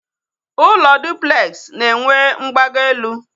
Ụlọ dụplex na enwe mgbago elu